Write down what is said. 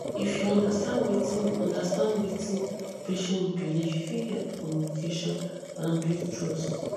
if you understand wetin understand wetin patient believe e fit help communication and build trust